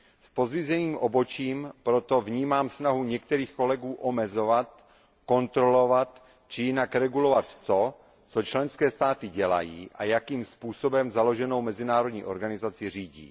S pozdviženým obočím proto vnímám snahu některých kolegů omezovat, kontrolovat či jinak regulovat to, co členské státy dělají a jakým způsobem založenou mezinárodní organizaci řídí.